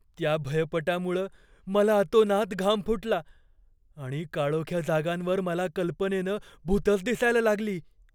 त्या भयपटामुळं मला अतोनात घाम फुटला आणि काळोख्या जागांवर मला कल्पनेनं भुतंच दिसायला लागली.